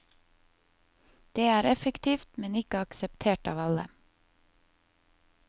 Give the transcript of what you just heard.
Det er effektivt, men ikke akseptert av alle.